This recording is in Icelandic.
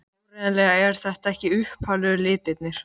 Áreiðanlega eru þetta ekki upphaflegu litirnir.